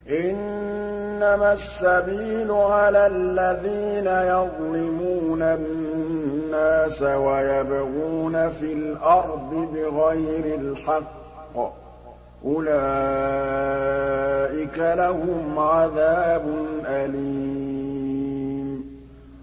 إِنَّمَا السَّبِيلُ عَلَى الَّذِينَ يَظْلِمُونَ النَّاسَ وَيَبْغُونَ فِي الْأَرْضِ بِغَيْرِ الْحَقِّ ۚ أُولَٰئِكَ لَهُمْ عَذَابٌ أَلِيمٌ